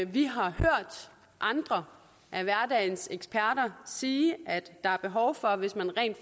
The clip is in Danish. vi har hørt andre af hverdagens eksperter sige at der er behov for hvis man rent